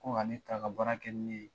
Ko ka ne ta ka baara kɛ ni ne ye